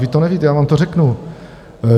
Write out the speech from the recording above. Vy to nevíte, já vám to řeknu.